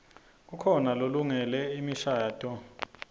kukhona lelungele imishadvo